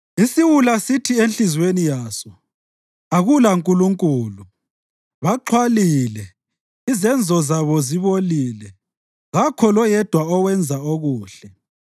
Isiwula sithi enhliziyweni yaso, “AkulaNkulunkulu.” Baxhwalile, izenzo zabo zibolile; kakho loyedwa owenza okuhle.